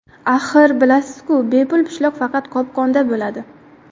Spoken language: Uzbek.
Axir, bilasiz-ku, bepul pishloq faqat qopqonda bo‘ladi.